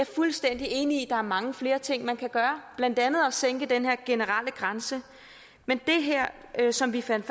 fuldstændig enig i at er mange flere ting man kan gøre blandt andet at sænke den her generelle grænse men det her som vi fandt